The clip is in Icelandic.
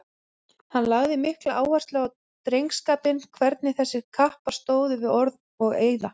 Hann lagði mikla áherslu á drengskapinn, hvernig þessir kappar stóðu við orð og eiða.